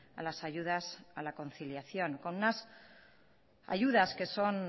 a las ayudas a la conciliación con unas ayudas que son